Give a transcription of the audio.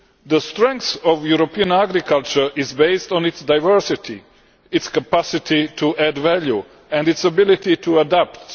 The strength of European agriculture is based on its diversity, its capacity to add value and its ability to adapt.